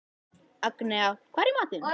Agnea, hvað er í matinn?